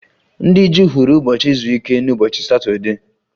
Ndị Juu hụrụ ụbọchị izu ike n'ụbọchị Satọdee